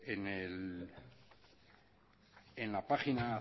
en la página